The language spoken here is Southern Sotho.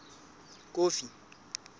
kofi